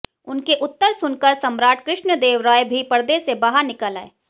उनके उत्तर सुनकर सम्राट कृष्णदेव राय भी पर्दे से बाहर निकल आये